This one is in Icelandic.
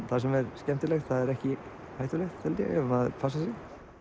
það sem er skemmtilegt það er ekki hættulegt held ég ef maður passar sig